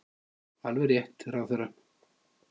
Alveg rétt, ráðherra!